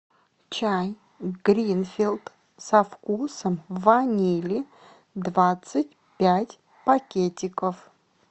чай гринфилд со вкусом ванили двадцать пять пакетиков